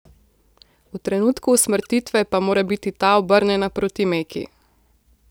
V trenutku usmrtitve pa mora biti ta obrnjena proti Meki.